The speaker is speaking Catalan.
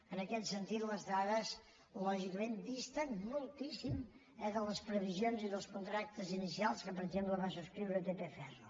en aquest sentit les dades lògicament disten moltíssim de les previsions i dels contractes inicials que per exemple va subscriure tp ferro